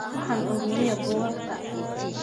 Waxaan ururiyaa buugaagta.